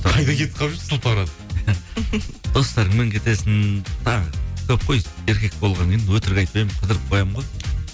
қайда кетіп қалып жүрсіз сылтауратып достарыңмен кетесің тағы көп қой еркек болғаннан кейін өтірік айтпаймын қыдырып қоямын ғой